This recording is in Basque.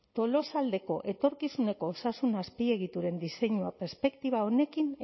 tolosaldeko etorkizuneko osasun azpiegituren diseinua perspektiba honekin